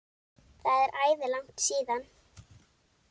Það er æði langt síðan.